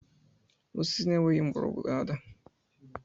Osisi na-enweghị mgbọrọgwụ ga-ada.